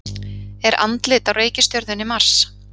Er andlit á reikistjörnunni Mars?